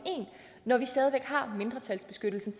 når vi stadig væk har mindretalsbeskyttelsen